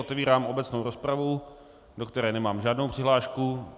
Otevírám obecnou rozpravu, do které nemám žádnou přihlášku.